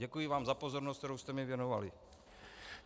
Děkuji vám za pozornost, kterou jste mi věnovali.